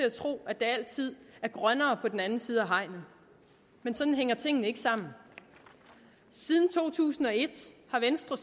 at tro at der altid er grønnere på den anden side af hegnet men sådan hænger tingene ikke sammen siden to tusind og et har venstre